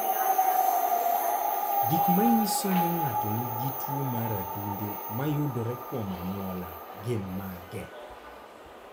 Gik manyiso ni ng'ato nigi tuwo mar adundo mayudore kuom anyuola gin mage?